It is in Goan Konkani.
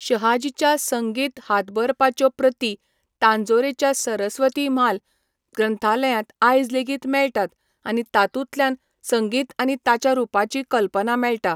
शहाजीच्या संगीत हातबरपांच्यो प्रती तांजोरच्या सरस्वती म्हाल ग्रंथालयांत आयज लेगीत मेळटात आनी तातूंतल्यान संगीत आनी ताच्या रुपाची कल्पना मेळटा.